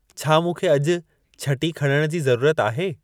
छा मूंखे अॼु छटी खणण जी ज़रूरत आहे